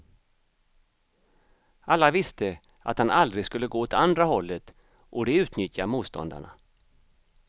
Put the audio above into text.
Alla visste att han aldrig skulle gå åt andra hållet, och det utnyttjar motståndarna.